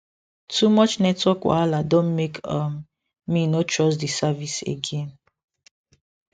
too much network wahala don make um me no trust the service again